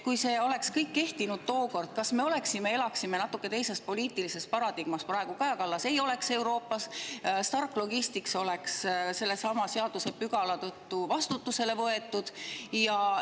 Kui see oleks kõik kehtinud tookord, kas me siis elaksime praegu natuke teises poliitilises paradigmas: Kaja Kallas ei oleks Euroopas, Stark Logistics oleks sellesama seadusepügala tõttu vastutusele võetud?